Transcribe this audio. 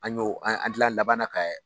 An ɲ'o an an tila labanna kɛ